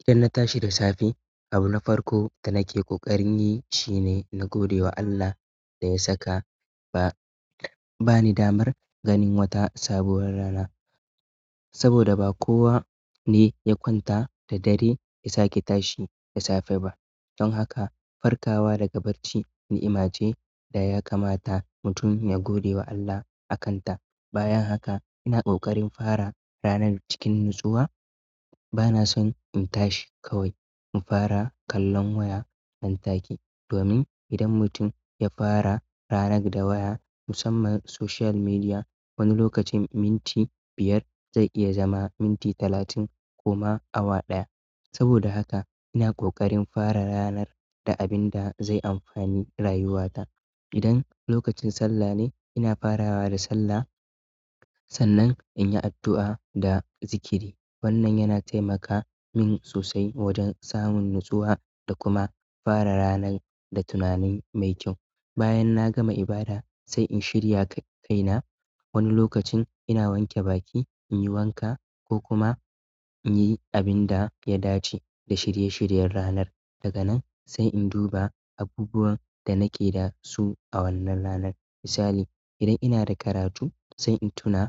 Idan na tashi da safe, abu na farko da nake koƙarin yi shine na gode wa Allah da ya saka ba ni damar ganin wata sabuwar rana, saboda ba kowa ne ya kwanta da dare ya sake tashi da safe ba. Don haka, farkawa daga barci ni'ima ce da ya kamata mutum ya gode wa Allah akanta. Bayan haka ina ƙoƙarin fara ranar cikin natsuwa, bana son in tashi kawai in fara kallon waya nantake. Domin idan mutum ya fara ranar da waya musamman social media, wani lokacin minti biyar zai iya zama minti talatin ko ma awa ɗaya, saboda haka ina ƙoƙarin fara ranar da abin da zai amfani rayuwata. Idan lokacin sallah ne, ina farawa da sallah sannan in yi addu'a da zikiri. Wannan yana taimaka min sosai wajen samun natsuwa da kuma fara rana da tunanin mai kyau. Bayan na gama ibada sai in shirya kaina. Wani lokacin ina wanke baki in yi wanka ko kuma in yi abin da ya dace da shirye-shiryen ranar. Daga nan sai in duba abubuwan da nake da su a wannan ranar. Misali, idan ina da karatu sai in tuna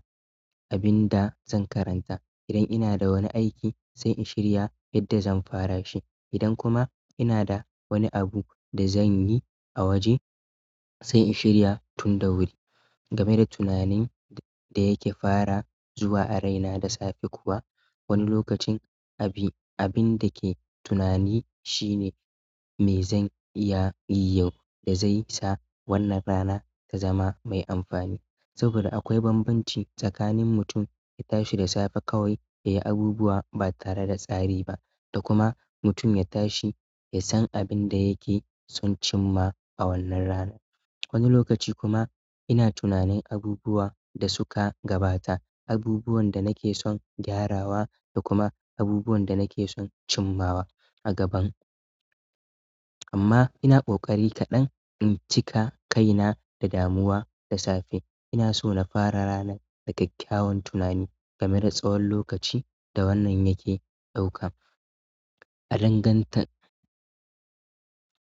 abin da zan karanta. Idan ina da wani aiki sai in shirya yadda zan fara shi. Idan kuma ina da wani abu da zan yi a waje sai in shirya tun da wuri. Game da tunanin da yake fara zuwa a raina da safe kuwa, wani lokacin abin da ke tunani shine me zan iya yi yau da zai sa wannan rana ta zama mai amfani. Saboda akwai bambanci tsakanin mutum ya tashi da safe kawai ya yi abubuwa ba tare da tsari ba, da kuma mutum ya tashi ya san abin da yake son cimma a wannan rana. Wani lokaci kuma ina tunanin abubuwa da suka gabata, abubuwan da nake son gyarawa da kuma abubuwan da nake son cimmawa a gaban. Amma ina ƙoƙari kaɗan in cika kaina da damuwa da safe. Ina so na fara ranan da kyakkyawan tunani gameda tsawon lokaci da wannan yake ɗauka. A danganta,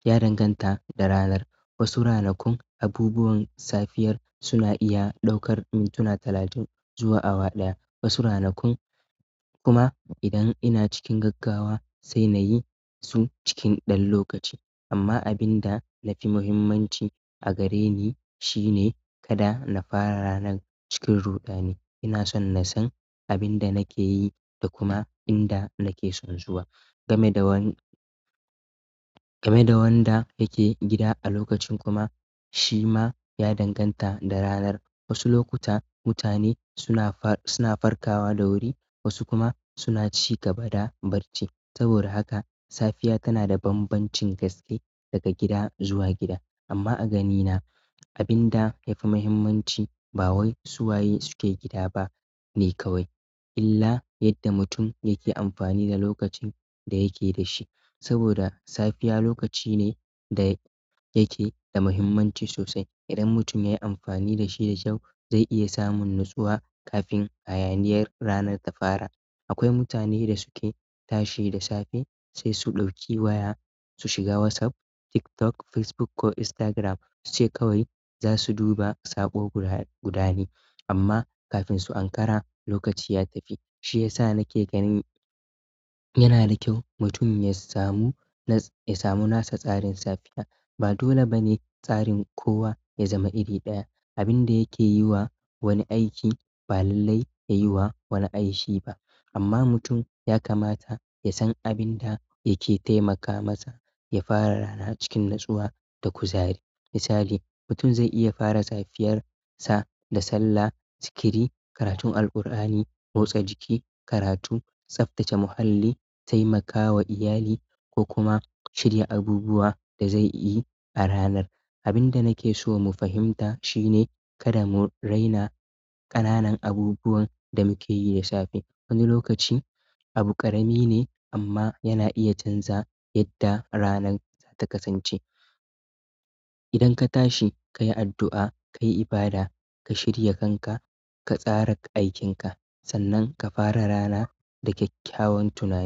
ya danganta da ranar. Wasu ranakun abubuwan safiyar suna iya ɗaukar mintuna talatin zuwa awa ɗaya. Wasu ranakun kuma idan ina cikin gaggawa sai na yi su cikin ɗan lokaci. Amma abinda nafi muhimmanci a gareni shine kada na fara ranan cikin ruɗani ina son nasan abinda nakeyi da kuma inda nake son zuwa game da game da wanda yake gida a lokacin kuma shima ya danganta da ranar. Wasu lokuta mutane suna farkawa da wuri wasu kuma suna ci gaba da barci. Saboda haka safiya tana da bambancin gaske daga gida zuwa gida. Amma a ganina abin da yafi muhimmanci ba wai suwaye suke gida bane kawai illa yadda mutum yake amfani da lokacin da yake da shi. Saboda safiya lokaci ne da yake da muhimmanci sosai. Idan mutum ya yi amfani da shi da kyau zai iya samun natsuwa kafin hayaniyar ranar ta fara. Akwai mutanen da suke tashi da safe sai su ɗauki waya su shiga WhatsApp, TikTok, Facebook ko Instagram suce kawai za su duba sabo guda ne. Amma kafin su ankara lokaci ya tafi. Shi yasa nake ganin yana da kyau mutum ya samu ya samu nasa tsarin safiya. Ba dole ba ne tsarin kowa ya zama iri ɗaya. Abin da yakeyiwa wani aiki ba lallai yayiwa wani aiki ba. Amma mutum ya kamata ya san abin da yake taimaka masa ya fara rana cikin natsuwa da kuzari. Misali, mutum zai iya fara safiyar sa da sallah, zikiri, karatun Alkur'ani, motsa jiki, karatu, tsaftace muhalli, taimakawa iyali ko kuma shirya abubuwa da zai yi a ranar. Abin da nake so mu fahimta shine kada mu raina ƙananan abubuwan da muke yi da safe. Wani lokaci abu ƙarami ne amma yana iya chanza yadda ranan zata kasance. Idan ka tashi ka yi addu'a, ka yi ibada, ka shirya kanka, ka tsara aikin ka sannan ka fara rana da kyakkyawan tunani.